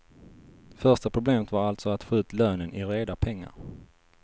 Första problemet var alltså att få ut lönen i reda pengar.